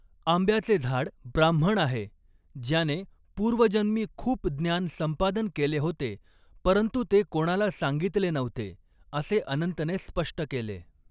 आंब्याचे झाड ब्राह्मण आहे, ज्याने पूर्वजन्मी खूप ज्ञान संपादन केले होते, परंतु ते कोणाला सांगितले नव्हते असे अनंतने स्पष्ट केले.